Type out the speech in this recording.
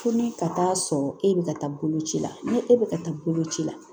Fo ni ka taa sɔrɔ e bɛ ka taa bolo ci la ni e bɛ ka taa boloci la